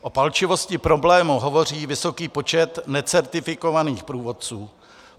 O palčivosti problému hovoří vysoký počet necertifikovaných průvodců.